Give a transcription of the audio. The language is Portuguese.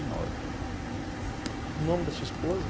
E O nome da sua esposa?